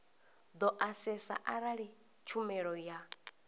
do asesa arali tshumelo ya